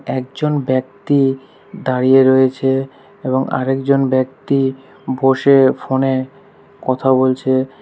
একজন ব্যক্তি দাঁড়িয়ে রয়েছে এবং আরেকজন ব্যক্তি বসে ফোনে কথা বলছে।